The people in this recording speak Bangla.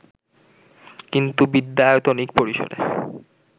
কিন্তু বিদ্যায়তনিক পরিসরে